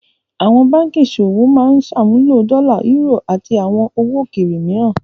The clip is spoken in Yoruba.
Àwọn báńkì ìṣòwò máa ń ṣàmúlò dọ́là, eúrò, àti àwọn owó òkèèrè mìíràn.